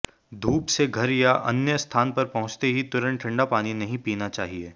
धूप से घर या अन्य स्थान पर पहुंचते ही तुरंत ठंडा पानी नहीं पीना चाहिए